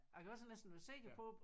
Jeg kan altid næsten være sikker på